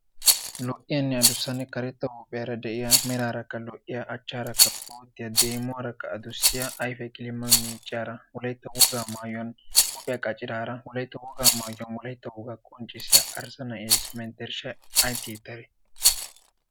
Lo''iyanne addussanne karetta huuphphiyaara de'iyaa, merarakka lo''iya, achcharakka boottiyaa, deemuwarakka addussiya, ayfiyaa qilima miicciyaara wolayta woga maayyuwan huuphphiya qacciraara wolaytta wogaa maayyuwan wolaytta woga qonccissiyaa arssa naa'essi menttereshshan ay tiyyetade?